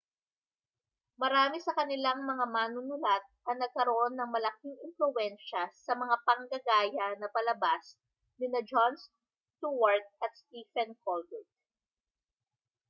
marami sa kanilang mga manunulat ang nagkaroon ng malaking impluwensya sa mga panggagaya na palabas nina jon stewart at stephen colbert